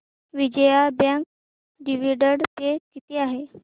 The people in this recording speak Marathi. विजया बँक डिविडंड पे किती आहे